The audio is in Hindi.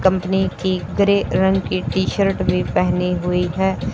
कंपनी की ग्रे रंग की टी शर्ट भी पहनी हुई है।